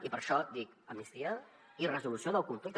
i per això dic amnistia i resolució del conflicte